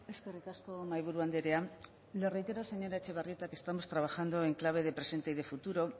eskerrik asko mahaiburu andrea le reitero señora etxebarrieta que estamos trabajando en clave de presente y de futuro